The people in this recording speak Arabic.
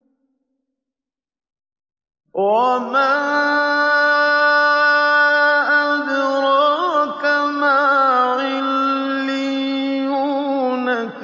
وَمَا أَدْرَاكَ مَا عِلِّيُّونَ